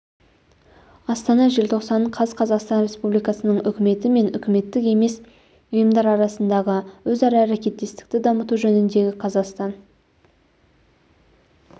астана желтоқсан қаз қазақстан республикасының үкіметі мен үкіметтік емес ұйымдар арасындағы өзара әрекеттестікті дамыту жөніндегі қазақстан